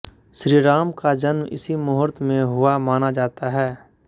श्री राम का जन्म इसी मुहूर्त में हुआ माना जाता है